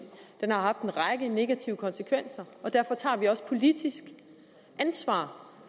har haft en række negative konsekvenser derfor tager vi også politisk ansvar